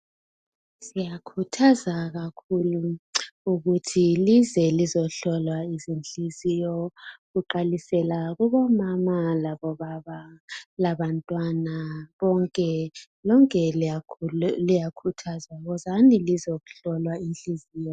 siyakhuthaza kakhulu ukuthi lize lizohlolwa inhliziyo kuqalisela kubo mama labo baba labantwana lonke liyakhuthazwa wozani lizehlolwa inhliziyo